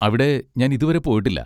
അവിടെ ഞാൻ ഇതു വരെ പോയിട്ടില്ല.